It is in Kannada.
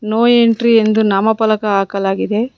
ನೋ ಎಂಟ್ರಿ ಎಂದು ನಾಮಫಲಕ ಹಾಕಲಾಗಿದೆ.